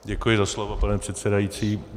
Děkuji za slovo, pane předsedající.